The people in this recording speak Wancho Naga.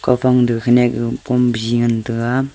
aga phang te khanak kom biji ngan taga.